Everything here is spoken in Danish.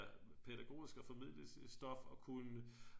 Pædagogisk og formidle stof og kunne